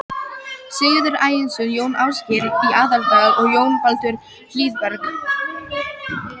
Sigurður Ægisson, Jón Ásgeir í Aðaldal og Jón Baldur Hlíðberg.